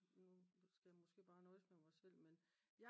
nu skal jeg måske bare nøjes med mig selv men